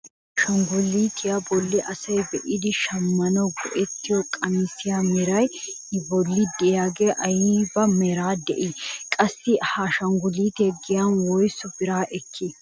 Issi ashangulutiyaa bolli asay be'idi shammanwu go"ettiyoo qamisiyaa meray i bolli de'iyaagee ayba meraara de'ii? qassi ha ashangulutee giyaan woysu biraa ekkii?